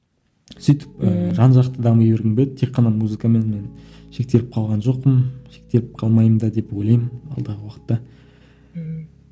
сөйтіп ііі жан жақты дами бергім келеді тек қана музыкамен мен шектеліп қалған жоқпын шектеліп қалмаймын да деп ойлаймын алдағы уақытта ммм